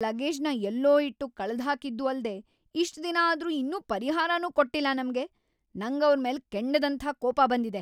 ಆ ಏರ್‌ಲೈನೋರು ನಮ್ ಲಗೇಜ್‌ನ ಎಲ್ಲೋ ಇಟ್ಟು ಕಳ್ದ್‌ಹಾಕಿದ್ದೂ ಅಲ್ದೇ ಇಷ್ಟ್‌ ದಿನ ಆದ್ರೂ ಇನ್ನೂ ಪರಿಹಾರನೂ ಕೊಟ್ಟಿಲ್ಲ ನಮ್ಗೆ.. ನಂಗವ್ರ್‌ ಮೇಲೆ ಕೆಂಡದಂಥ ಕೋಪ ಬಂದಿದೆ.